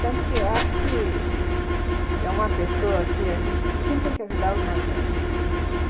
Tanto que eu acho que é uma pessoa que a gente tem que ajudar os mais velhos.